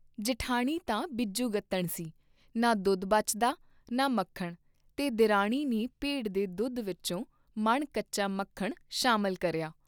ਜਿਠਾਣੀ ਤਾਂ ਬਿਜੁਗਤਣ ਸੀ, ਨਾ ਦੁੱਧ ਬਚਦਾ ਨਾ ਮੱਖਣ ਤੇ ਦਿਰਾਣੀ ਨੇ ਭੇਡ ਦੇ ਦੁੱਧ ਵਿਚੋਂ ਮਣ ਕੱਚਾ ਮੱਖਣ ਸ਼ਾਮਿਲ ਕਰਿਆ।